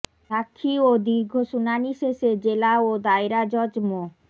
স্বাক্ষী ও দীর্ঘ শুনানি শেষে জেলা ও দায়রা জজ মো